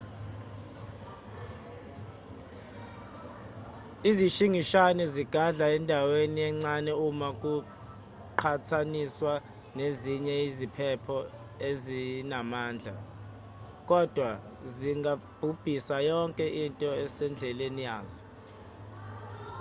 izishingishane zigadla endaweni encane uma kuqhathaniswa nezinye iziphepho ezinamandla kodwa zingabhubhisa yonke into esendleleni yazo